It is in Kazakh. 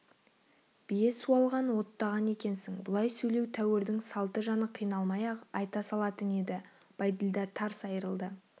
бие суалған оттаған екенсің бұлай сөйлеу тәуірдің салты жаны қиналмай-ақ айта салатын еді бәйділда тарс айрылды